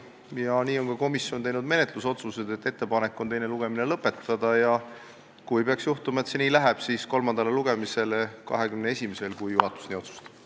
Komisjon on teinud järgmised menetlusotsused: ettepanek on teine lugemine lõpetada ja kui peaks juhtuma, et see nii läheb, siis saata eelnõu kolmandale lugemisele 21. novembriks, kui juhatus nii otsustab.